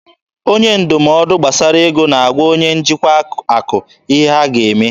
Onye ndụmọdụ gbasara ego na-agwa onye njikwa akụ ihe ha ga-eme.